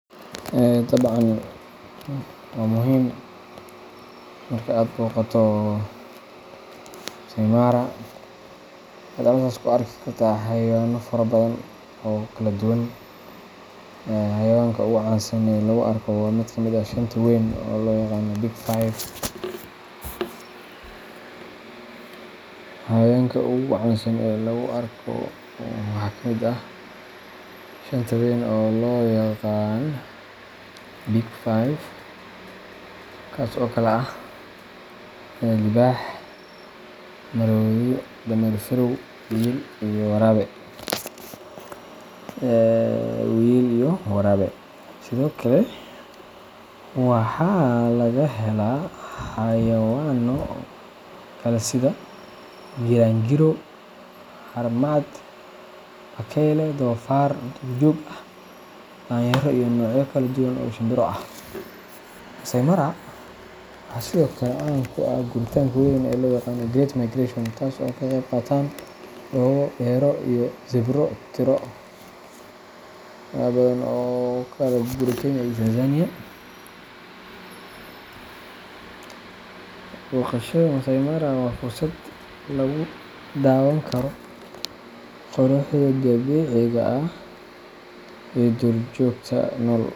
Dabcan waa muhim marka aad booqato Maasai Mara, waxaad halkaas ku arki kartaa xayawaano fara badan oo kala duwan. Xayawaanka ugu caansan ee lagu arko waxaa ka mid ah shanta weyn oo loo yaqaan Big Five kuwaas oo kala ah: libaax, maroodi, dameer farow, wiyil, iyo waraabe. Sidoo kale, waxaa laga helaa xayawaano kale sida giraangiro, haramcad, bakayle, doofaar duurjoog ah, daanyeero iyo noocyo kala duwan oo shimbiro ah. Maasai Mara waxaa sidoo kale caan ku ah guuritaanka weyn ee loo yaqaan Great Migration, taas oo ay ka qayb qaataan dhoobo, deero iyo zebro tiro badan oo u kala guura Kenya iyo Tanzania. Booqashada Maasai Mara waa fursad lagu daawan karo quruxda dabiiciga ah iyo duurjoogta nool.